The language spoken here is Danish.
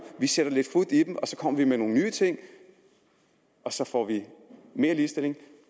vi sætter lidt fut i dem og så kommer vi med nogle nye ting og så får vi mere ligestilling